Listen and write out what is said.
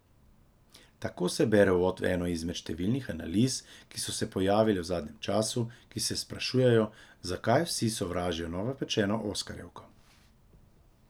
Tako se bere uvod v eno izmed številnih analiz, ki so se pojavile v zadnjem času, ki se sprašujejo, zakaj vsi sovražijo novopečeno oskarjevko.